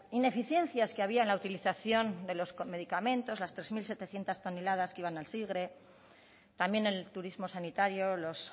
ineficiencias que había en la utilización de los medicamentos las tres mil setecientos toneladas que iban al sigre también el turismo sanitario los